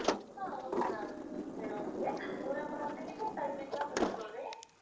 ஆஹ் okay ma'am சரி okay உங்களுக்கு அப்பன்னா premium package லாம் பத்தி சொல்றேன்